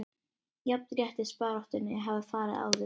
Jafnréttisbaráttunni hafi farið aftur